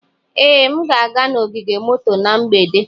Ee, m ga-aga n'ogige moto na mgbede.